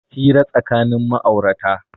Hira tsakanin ma'aurata